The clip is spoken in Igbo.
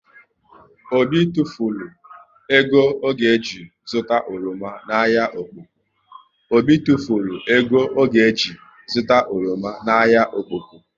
Obi tufulu ego ọ ga ji zụta oroma na ahịa Okpoko